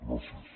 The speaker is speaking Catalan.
gràcies